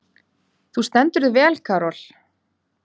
Þú stendur þig vel, Karol!